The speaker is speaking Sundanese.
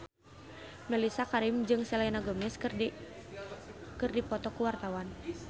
Mellisa Karim jeung Selena Gomez keur dipoto ku wartawan